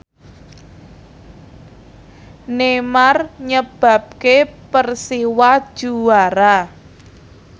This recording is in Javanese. Neymar nyebabke Persiwa juara